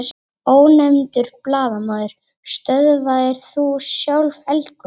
Ónefndur blaðamaður: Stöðvaðir þú sjálf eldgosið?